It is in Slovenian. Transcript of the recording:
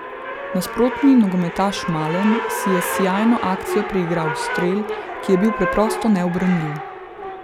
Nasprotni nogometaš Malen si je s sijajno akcijo priigral strel, ki je bil preprosto neubranljiv.